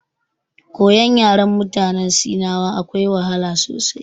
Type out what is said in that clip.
Koyon yaren mutanen sinawa akwai wahala sosai.